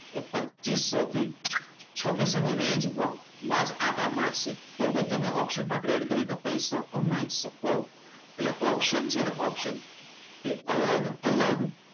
એ પચીસો થી છવ્વીસો થી રેંજમાં આંટા મારશે તો બી તમે ઓપ્શન્સમાં ટ્રેડ કરીને પૈસા કમાઈ શકો છો. એટલે ઓપ્શન્સ છે ને ઓપ્શન્સ તે અલગ અલગ,